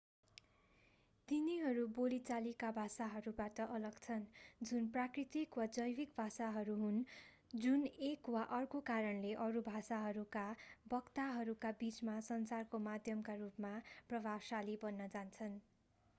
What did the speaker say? तिनीहरू बोलिचालिका भाषाहरूबाट अलग छन् जुन प्राकृतिक वा जैविक भाषाहरू हुन् जुन एक वा अर्को कारणले अरू भाषाहरूका वक्ताहरूका बिचमा सञ्चारको माध्यमका रूपमा प्रभावशाली बन्न जान्छन्